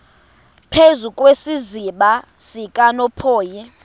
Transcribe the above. phezu kwesiziba sikanophoyi